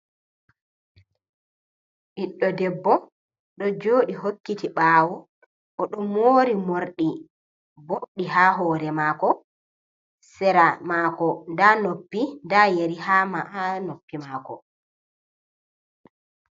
Ɓiɗɗo debbo ɗo joɗi hokkiti ɓawo, oɗo mori morɗi boɗɗi ha hore mako. Sera mako nda noppi, nda yeri ha noppi mako.